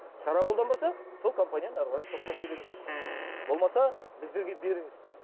шара қолданбаса сол компанияны ары қарай сотқа сүйреңіз болмаса біздерге беріңіз